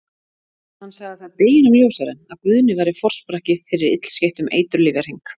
Hann sagði það deginum ljósara að Guðni væri forsprakki fyrir illskeyttum eiturlyfjahring.